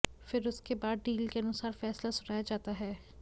फिर उसके बाद डील के अनुसार फैसला सुनाया जाता है